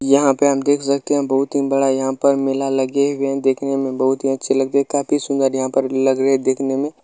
यहाँ पे हम देख सकते है बहोत ही बड़ा यहाँ पर मेला लगे हुए है देखने में बहोत ही अच्छा लगे रहे हैं काफी सुंदर यहाँ पर लग रहे है देखने में।